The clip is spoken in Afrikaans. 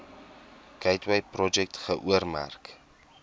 gateway projek geoormerk